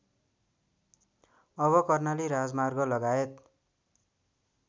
अब कर्णाली राजमार्गलगायत